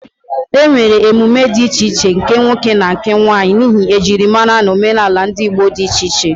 E nwere emume dị iche iche nke nwoke na nwanyị, n'ihi ejirimara na omenala ndị Igbo di iche iche.